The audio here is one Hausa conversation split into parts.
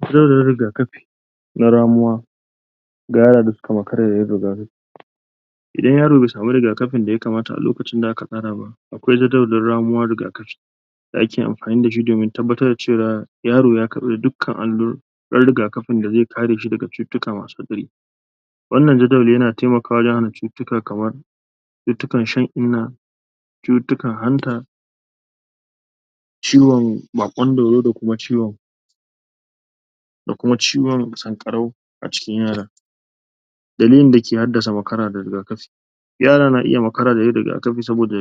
fitowar riga kafi na ramuwa ga yara da suka makara ba yan dabaru idan yaro bai samu riga-kafin da ya kamata a lokacin da aka tsaraba akwai jadawalin ramuwar riga-kafi da ake amfani dashi domin tabbatar cewar yaro ya karfi dukkan alluran riga-kafin da zai kareshi daga cutittuka masu muni wan nan jadawali, yana taimakwa wajen hana cutitika kaman cutittikan shan inna cutitikan hanta ciwon bakon dauro, da kuma ciwon? da kuma ciwon sankarau a cikin yaran dalilin da ke haddasa makara da rika-kafi yara na iya makara da yin riga-kafi saboda?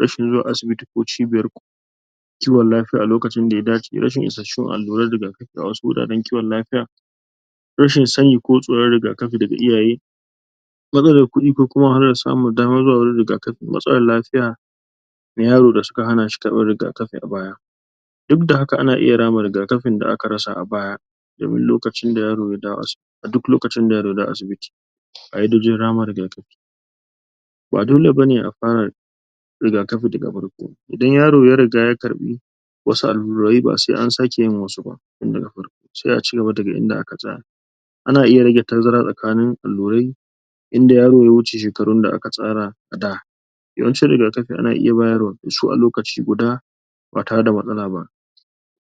rashin zuwa asibiti ko cibiyar ku kiwon lafia a lokacin da ya dace rashin ishashshun alluran riga-kafi a wasu guraren kiwon lafia rashin sani ko tsoron riga kafi daga iyaye rashin sani, ko tsoron riga-kafi daga iyaye matsalan kudi ko kuma rashin samun daman zuwa wajen riga-kafin yaro da aka hanashi karfan riga-kafi a baya dudda haka ana iya rama rika-kafin da aka rasa a baya domin lokacin da yaro? a duk lokacin da yaro ya dawo asibiti???? ba dole bane, a fara da?? rika-kafi da ga farko idan yaro, ya riga ya karfi wasu allurai basai an sake yin wasuba da ga farko sai aci gaba daga inda aka tsaya ana iya rage tazara tsakanin allurai in da yaro ya shige shekarun da aka tsara a da yawan cin riga-kafi ana iya bayarwa a lokaci guda ba tare da matsala ba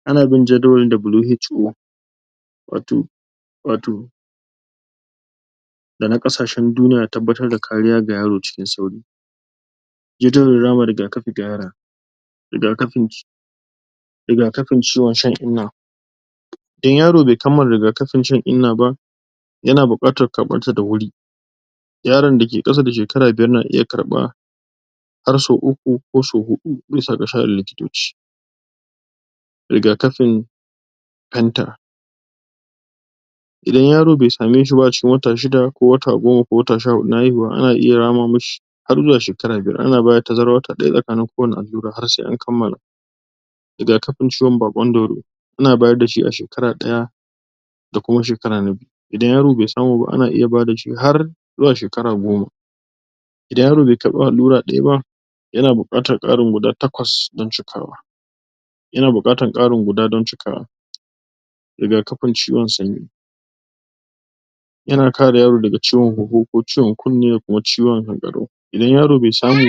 a na bin Jadawalin W.H.O Wato wato da na kasahen duniya dan tabbatar da kariya ga rayo cikin sauri jardawalin rama riga-kafi ga yara riga-kafin ci??? riga-kafin ciwon shan inna in yaro bai kammala riga-kafin shan` inna ba yana bukatar karfan ta da huri yaron dake kasa da shekara biyar na iya karfa har sau uku, ko sau hudu, bisa da, sha'anin likitoci riga-kafin hanta idan yaro bai samu shi ba a cikin wata shida, ko wata goma, ko wata sha hudu na haihuwa a na iya rama mishi har zuwa shekara biyar, a na bada tazaran wata daya, tsakanin ko wacce allura, har sai an kammala riga-kafin ciwon bakon dauro ana bayar dashi a shekara daya da kuma shekara na biyu, idan yaro bai samuba ana iya ba da shi har zuwa shekara goma idan yaro bai karfi allura daya ba, ya na bukatar karin guda takwas dan cikawa yana bukatar karin guda, dan cikawa riga-kafin ciwon sanyi yana kare yaro, daga ciwon huhu ko ciwon kunne, da kuma ciwon hankaro idan yaro bai samu